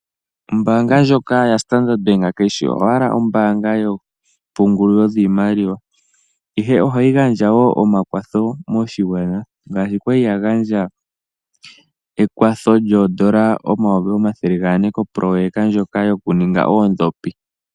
Ombaanga ndjoka ya standard kayishi owala ombaanga yoompungulilo dhiimaliwa ihe ohayi gandjawo omakwatho moshigwana ngaashi kwali ya gandja ekwatho lyoondola omayovi omathele gane kopoloyeka ndjoka yoku ninga oondhopi.